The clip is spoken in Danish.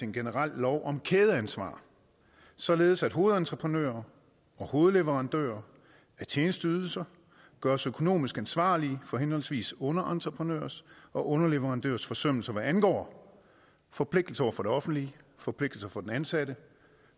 en generel lov om kædeansvar således at hovedentreprenører og hovedleverandører af tjenesteydelser gøres økonomisk ansvarlige for henholdsvis underentreprenørers og underleverandørers forsømmelser hvad angår forpligtelser over for det offentlige forpligtelser over for den ansatte og